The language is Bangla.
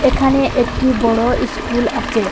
এখানে একটি বড় ইস্কুল আচে।